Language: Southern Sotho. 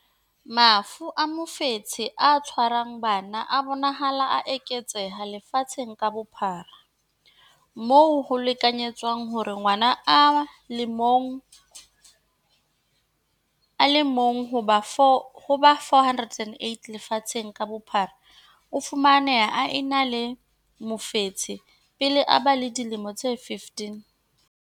Mafu a mofetshe o tshwarang bana a bonahala a eketseha lefatsheng ka bophara, moo ho lekanyetswang hore ngwana a le mong ho ba 408 lefatsheng ka bophara o fumaneha a ena le mofetshe pele a ba le dilemo tse 15.